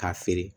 K'a feere